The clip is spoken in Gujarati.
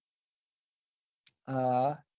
હા હા